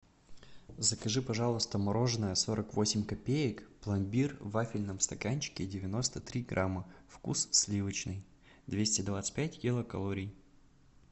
закажи пожалуйста мороженое сорок восемь копеек пломбир в вафельном стаканчике девяносто три грамма вкус сливочный двести двадцать пять килокалорий